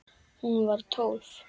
Hún var tólf.